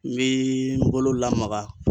N bee n bolo lamaga